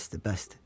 Bəsdir, bəsdir.